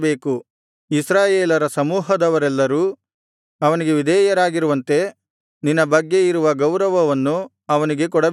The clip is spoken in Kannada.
ಇಸ್ರಾಯೇಲರ ಸಮೂಹದವರೆಲ್ಲರೂ ಅವನಿಗೆ ವಿಧೇಯರಾಗಿರುವಂತೆ ನಿನ್ನ ಬಗ್ಗೆ ಇರುವ ಗೌರವವನ್ನು ಅವನಿಗೆ ಕೊಡಬೇಕು